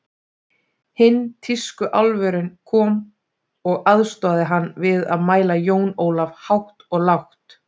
Hinn tískuálfurinn kom og aðstoðaði hann við að mæla Jón Ólaf hátt og lágt.